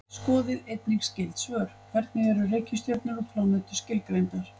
Skoðið einnig skyld svör: Hvernig eru reikistjörnur og plánetur skilgreindar?